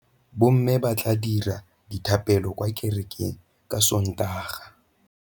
Bommê ba tla dira dithapêlô kwa kerekeng ka Sontaga.